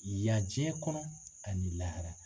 Yan diɲɛ kɔnɔ ani lahara